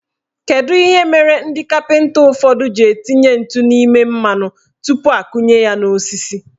Kedu ihe mere ndị kapịnta ụfọdụ ji etinye ntụ n' ime mmanụ tupu akunye ya n'osisi?